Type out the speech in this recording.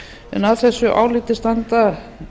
en að þessu áliti standa